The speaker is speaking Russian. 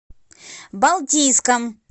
балтийском